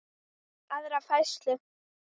aðra færslu.